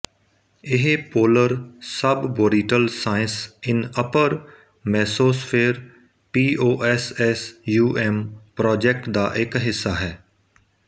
ਇਹ polar suborbital science in upper mesosphere POSSUM project ਦਾ ਇੱਕ ਹਿੱਸਾ ਹੈ